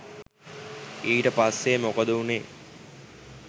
ඊට පස්සේ මොකද වුණේ?